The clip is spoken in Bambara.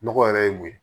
Nɔgɔ yɛrɛ ye mun ye